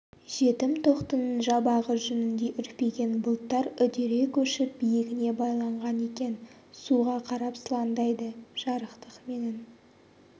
жетім тоқтының жабағы жүніндей үрпиген бұлттар үдере көшіп биігіне байланған екен суға қарап сылаңдайды жарықтық менің